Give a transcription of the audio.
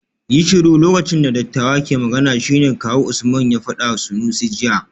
Yi shiru lokacin da dattawa ke magana shine kawu Usman ya fadawa Sanusi jiya